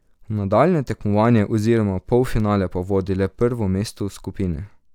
V nadaljnje tekmovanje oziroma v polfinale pa vodi le prvo mesto v skupini.